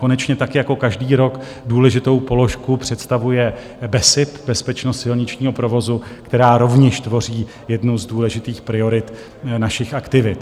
Konečně tak jako každý rok důležitou položku představuje BESIP, bezpečnost silničního provozu, která rovněž tvoří jednu z důležitých priorit našich aktivit.